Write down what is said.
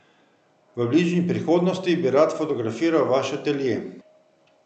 V bližnji prihodnosti bi rad fotografiral vaš atelje.